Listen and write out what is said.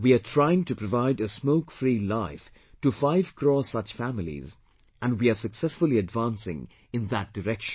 We are trying to provide a smoke free life to 5 crore such families and we are successfully advancing in that direction